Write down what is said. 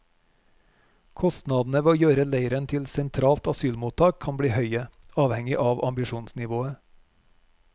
Kostnadene ved å omgjøre leiren til sentralt asylmottak kan bli høye, avhengig av ambisjonsnivået.